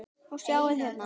Og sjáið hérna!